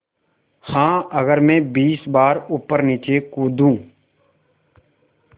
हाँ अगर मैं बीस बार ऊपरनीचे कूदूँ